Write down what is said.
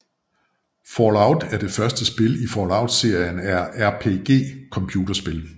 Fallout er det første spil i Fallout serien af RPG computerspil